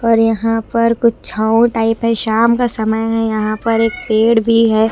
और यहां पर कुछ छांव टाइप है शाम का समय है यहां पर एक पेड़ भी है।